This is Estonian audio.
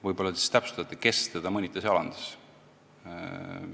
Võib-olla te täpsustate, kes teda mõnitas ja alandas.